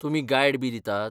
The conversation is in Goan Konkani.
तुमी गायडबी दितात?